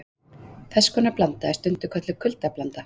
Þess konar blanda er stundum kölluð kuldablanda.